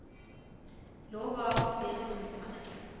Lå bare og stirret ut i mørket.